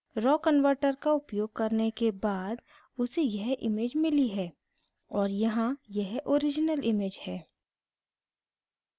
raw convertor raw convertor का उपयोग करने के बाद उसे यह image मिली है और यहाँ यह original image है